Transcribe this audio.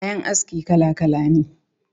Kayan aski kala-kala ne